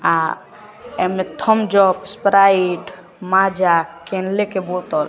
अह Thums Up Sprite Maaza Kinley की बोतल।